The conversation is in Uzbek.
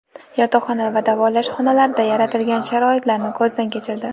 Yotoqxona va davolash xonalarida yaratilgan sharoitlarni ko‘zdan kechirdi.